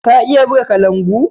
Ka iya buga kalangu?